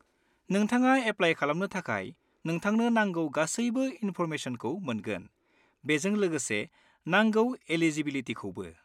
नोंथाङा एप्लाय खालामनो थाखाय नोंथांनो नांगौ गासैबो इनफ'रमेसनखौ मोनगोन, बेजों लोगोसे नांगौ एलिजिबिलिटिखौबो।